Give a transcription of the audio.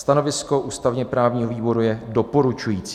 Stanovisko ústavně-právního výboru je doporučující.